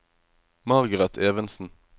Margareth Evensen